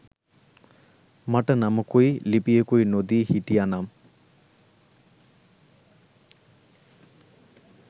මට නමකුයි ලිපියකුයි නොදී හිටියනම්